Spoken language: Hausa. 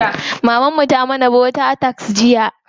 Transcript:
Maman mu ta mana bota tart jiya.